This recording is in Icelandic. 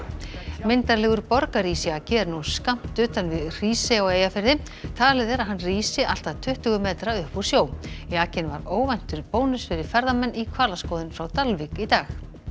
myndarlegur borgarísjaki er nú skammt utan við Hrísey á Eyjafirði talið er að hann rísi allt að tuttugu metra upp úr sjó jakinn var óvæntur bónus fyrir ferðamenn í hvalaskoðun frá Dalvík í dag